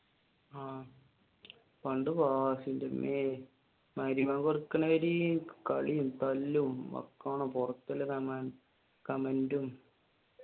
പണ്ട് ക്ലാസ്സിലെങ്കിൽ മഗ്‌രിബ് ബാങ്ക് കൊടുക്കുന്ന വരെ കളിയും, തല്ലും comment ഉം